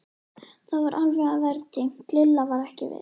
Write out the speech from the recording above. Það var alveg að verða dimmt, Lilla var ekki viss.